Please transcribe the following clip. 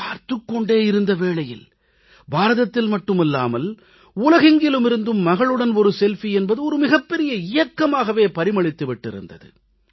பார்த்துக் கொண்டே இருந்த வேளையில் பாரதத்தில் மட்டுமல்லாமல் உலகெங்கிலுமிருந்தும் மகளுடன் செல்ஃபி என்பது மிகப்பெரிய இயக்கமாகவே பரிமளித்து விட்டிருந்தது